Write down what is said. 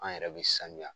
An yɛrɛ bɛ sanuya